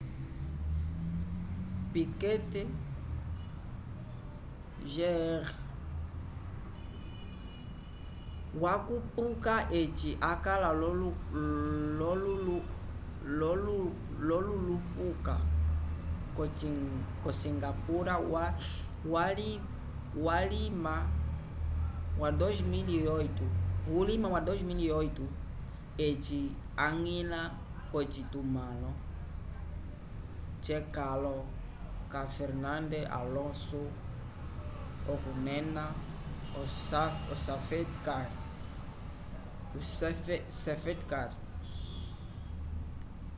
piquet jr wakupuka eci akala l'olulupuka k'osingapura vulima wa 2008 eci añgila k'ocitumãlo c'ekãlo ca fernando alonso okunena o safety car